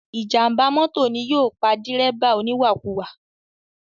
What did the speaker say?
Ìjàm̀bá mọ́tò ni yóò pa dírẹ́bà oníwàkuwà.